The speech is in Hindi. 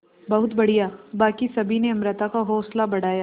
बहुत बढ़िया बाकी सभी ने अमृता का हौसला बढ़ाया